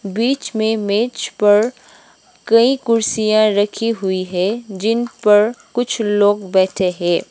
बीच में मेज पर कई कुर्सियां रखी हुई हैं जिन पर कुछ लोग बैठे है।